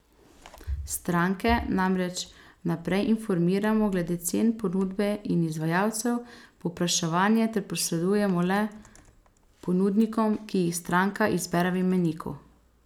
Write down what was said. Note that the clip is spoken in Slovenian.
Stranke namreč vnaprej informiramo glede cen, ponudbe in izvajalcev, povpraševanje pa posredujemo le ponudnikom, ki jih stranka izbere v imeniku.